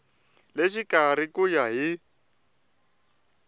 le xikarhi ku ya hi